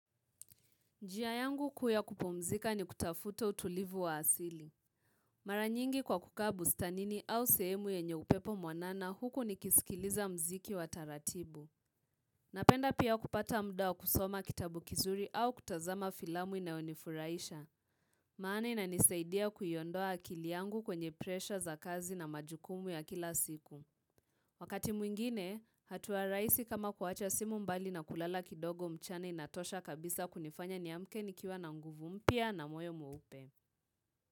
Njia yangu kuu ya kupumzika ni kutafuta utulivu wa asili. Mara nyingi kwa kukaa bustanini au sehemu yenye upepo mwanana huku nikisikiliza muziki wa taratibu. Napenda pia kupata muda wa kusoma kitabu kizuri au kutazama filamu inayonifurahisha. Maana inanisaidia kuiondoa akili yangu kwenye presha za kazi na majukumu ya kila siku. Wakati mwingine, hatua rahisi kama kuwacha simu mbali na kulala kidogo mchana inatosha kabisa kunifanya niamke nikiwa na nguvu mpya na moyo mweupe.